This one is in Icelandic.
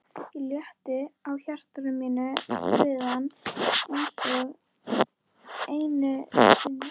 Ég létti á hjarta mínu við hann einsog einu sinni.